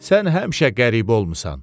Sən həmişə qəribə olmusan.